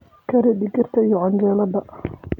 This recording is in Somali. Kari digirta iyo canjeelada.